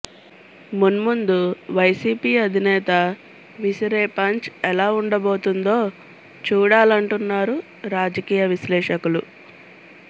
మున్ముందు వైసీపీ అధినేత విసిరే పంచ్ ఎలా ఉండబోతోందో చూడాలంటున్నారు రాజకీయ విశ్లేషకులు